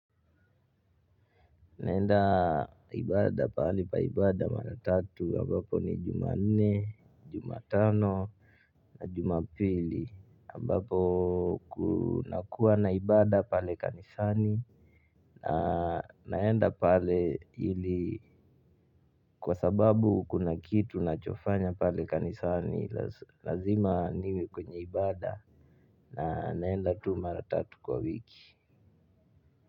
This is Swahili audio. Naenda ibada, pahali pa ibada mara tatu ambazo ni Jumanne, Jumatano na Jumapili ambapo kunakuwa na ibada pale kanisani. Naenda pale ili, kwa sababu kuna kitu nachofanya pale kanisani lazima niwe kwenye ibada na naenda tu mara tatu kwa wiki.